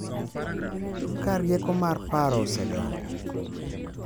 Ka rieko mar paro osedongo, .